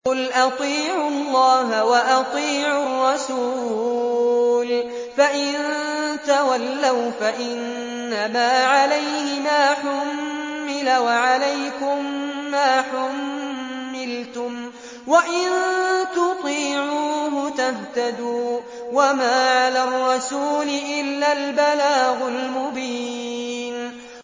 قُلْ أَطِيعُوا اللَّهَ وَأَطِيعُوا الرَّسُولَ ۖ فَإِن تَوَلَّوْا فَإِنَّمَا عَلَيْهِ مَا حُمِّلَ وَعَلَيْكُم مَّا حُمِّلْتُمْ ۖ وَإِن تُطِيعُوهُ تَهْتَدُوا ۚ وَمَا عَلَى الرَّسُولِ إِلَّا الْبَلَاغُ الْمُبِينُ